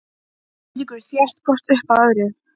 Eiríkur þétt hvort upp að öðru.